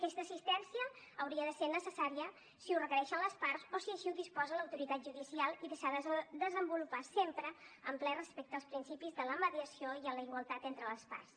aquesta assistència hauria de ser necessària si ho requereixen les parts o si així ho disposa l’autoritat judicial i s’ha de desenvolupar sempre amb ple respecte als principis de la mediació i la igualtat entre les parts